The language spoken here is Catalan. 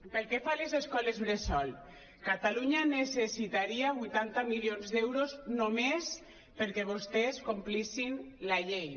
pel que fa a les escoles bressol catalunya necessitaria vuitanta milions d’euros només perquè vostès complissin la llei